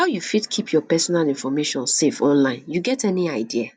how you fit keep your personal information safe online you get any idea